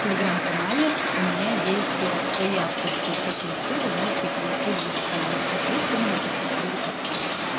телеграмм-канале у меня есть свои авторские чек-листы вы можете их найти выше там есть чек лист именно по структуре поста